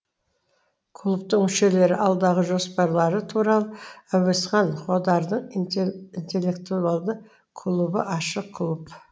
клубтың мүшелері алдағы жоспарлары туралы әуезхан қодардың интеллектуалды клубы ашық клуб